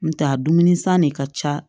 N tɛ a dumuni san ne ka ca